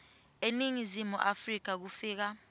eningizimu afrika kufika